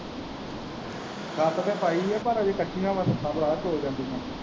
ਛੱਤ ਤਾਂ ਪਾਈ ਹੈ ਪਰ ਅਜੇ ਕੱਚੀਆਂ ਵਾ ਛੱਤਾਂ ਪਰਾ ਚੋ ਜਾਂਦੀਆਂ।